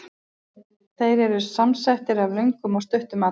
Þeir eru samsettir af löngum og stuttum atkvæðum.